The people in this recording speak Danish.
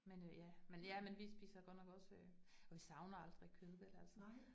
Men øh ja, men ja men vi spiser godt nok også øh, og vi savner aldrig kød vel altså